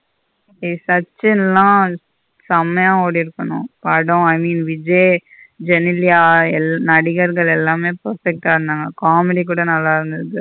ஏய் சச்சின்ள செமைய ஓடிருக்கணும் படம் i mean விஜய் ஜெனிலிய நடிகர்கள் எல்லாமே perfect ஆ இருந்தாங்க comedy கூட நல்ல இருந்தது.